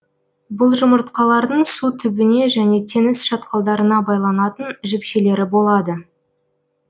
бұл жұмыртқалардың су түбіне және теңіз шатқалдарына байланатын жіпшелері болады